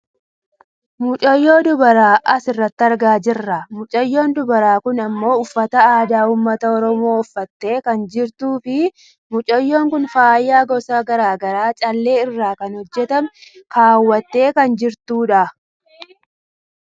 mucayyoo dubaraa asirratti argaa jirra. mocayyoon dubaraa kun ammoo uffata aadaa uummata oromoo uffattee kan jirtuu fi mucayyoon kun faaya gosa gara garaa callee irraa kan hojjatame kawwaattee kan jirtudha.